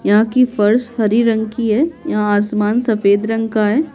यहाँ की फर्श हरी रंग की है यहाँ आसमान सफेद रंग का है।